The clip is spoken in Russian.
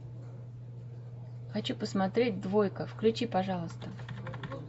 хочу посмотреть двойка включи пожалуйста